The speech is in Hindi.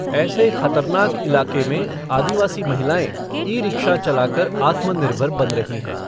ऐसे ख़तरनाक इलाके में आदिवासी महिलाएँ, ई रिक्शा चला कर आत्मनिर्भर बन रही हैं।